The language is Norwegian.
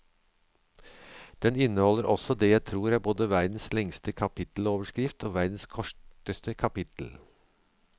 Den inneholder også det jeg tror er både verdens lengste kapitteloverskrift og verdens korteste kapittel.